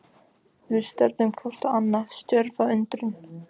Við störðum hvort á annað, stjörf af undrun.